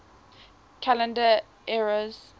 calendar eras